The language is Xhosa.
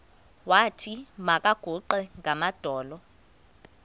wathi makaguqe ngamadolo